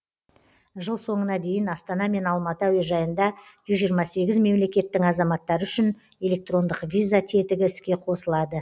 жыл соңына дейін астана мен алматы әуежайында жүз жиырма сегіз мемлекеттің азаматтары үшін электрондық виза тетігі іске қосылады